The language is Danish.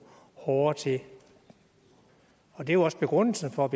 hårdere til det og det er jo også begrundelsen for at